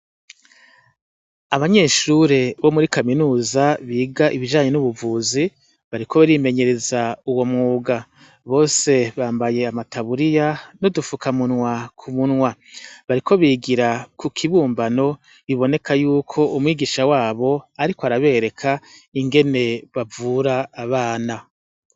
Abanyeshure bo muri kaminuza biga ibijanye n'ubuvuzi bariko barimenyereza uwo mwuga bose bambaye amataburiya no dufukamunwa ku munwa bariko bigira ku kibumbano biboneka yuko umwigisha wabo, ariko arabereka ingene bavura abana.